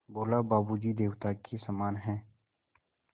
बोला बाबू जी देवता के समान हैं